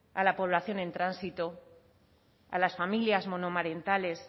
a la población en tránsito a las familias monomarentales